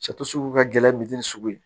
sugu ka gɛlɛn misi sugu ye